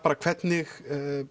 hvernig